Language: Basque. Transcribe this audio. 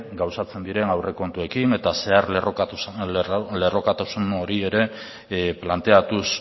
gauzatzen diren aurrekontuetan eta zeharlerrokotasun hori ere planteatuz